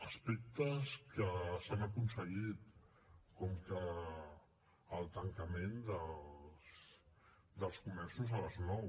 aspectes que s’han aconseguit com el tancament dels comerços a les nou